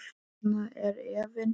Þarna er efinn.